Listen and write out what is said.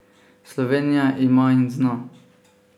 Slovenija ima in zna!